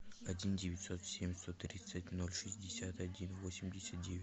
один девятьсот семь сто тридцать ноль шестьдесят один восемьдесят девять